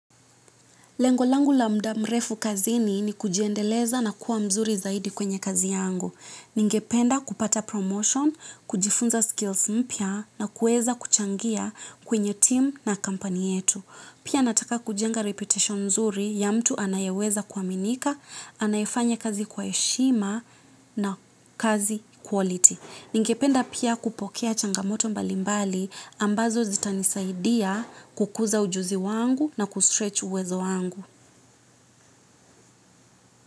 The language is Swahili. Lengo langu la muda mrefu kazini ni kujiendeleza na kuwa mzuri zaidi kwenye kazi yangu. Ningependa kupata promotion, kujifunza skills mpya na kuweza kuchangia kwenye team na kampuni yetu. Pia nataka kujenga reputation mzuri ya mtu anayeweza kuaminika, anayefanya kazi kwa heshima na kazi quality. Ningependa pia kupokea changamoto mbalimbali ambazo zitanisaidia kukuza ujuzi wangu na kustretch uwezo wangu.